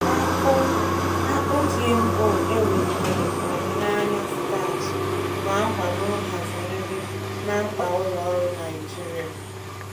Akpụ Akpụ GMO e welitere ọdịnaya starch na-akwado nhazi nri na mkpa ụlọ ọrụ Naijiria.